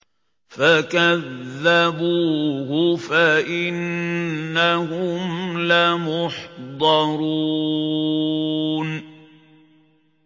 فَكَذَّبُوهُ فَإِنَّهُمْ لَمُحْضَرُونَ